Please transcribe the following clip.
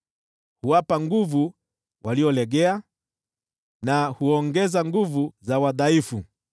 Huwapa nguvu waliolegea na huongeza nguvu za wadhaifu.